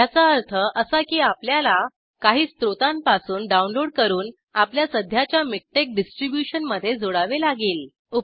ह्याचा अर्थ असा की आपल्याला काही स्रोतांपासून डाऊनलोड करून आपल्या सध्याच्या मिकटेक्स डिस्ट्रिब्युशनमध्ये जोडावे लागेल